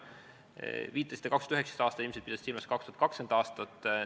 Viitasite 2019. aastale, ilmselt pidasite silmas 2020. aastat.